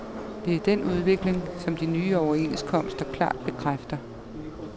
Det er den udvikling, som de nye overenskomster klart bekræfter.